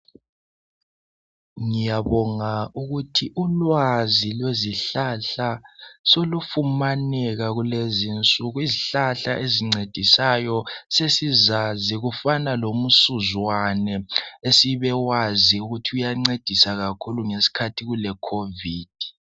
Ngiyabonga ukuthi ulwazi lwezihlahla selufumaneka kukezinsuku. Izihlahla ezincedisayo sesizazi ezifana lomsuzwane esibewazi ukuthi uyancedisa kakhulu ngesikhathi se Covid.